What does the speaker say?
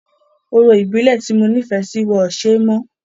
Orò ìbílẹ̀ ti mo nífẹ̀ẹ́ sí wọ́n o ṣe mọ́.